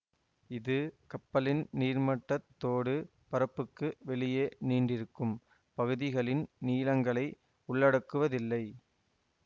இது கப்பலின் நீர்மட்டத்தோடு பரப்புக்கு வெளியே நீண்டிருக்கும் பகுதிகளின் நீளங்களை உள்ளடக்குவதில்லை